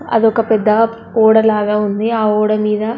అదొక పెద్ద ఓడ లాగా ఉంది. ఆ ఓడ మీద--